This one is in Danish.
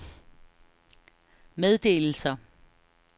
meddelelser